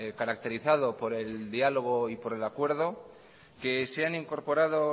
caracterizado por el diálogo y por el acuerdo que se han incorporado